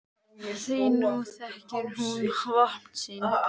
Því nú þekkir hún vopn sín.